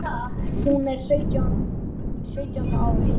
Hún er á sjöunda ári